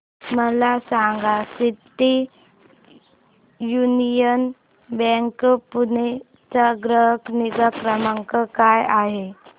मला सांगा City Union Bank Pune चा ग्राहक निगा क्रमांक काय आहे